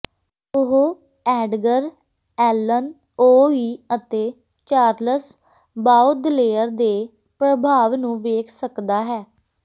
ਉਹ Edgar Allan ਓ ਈ ਅਤੇ ਚਾਰਲਸ ਬਾਓਦਲੇਅਰ ਦੇ ਪ੍ਰਭਾਵ ਨੂੰ ਵੇਖ ਸਕਦਾ ਹੈ